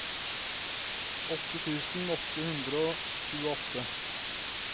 åtte tusen åtte hundre og tjueåtte